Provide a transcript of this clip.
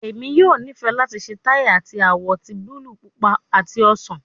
Emi yoo nifẹ lati ṣe tai ati awọ ti buluu, pupa ati osan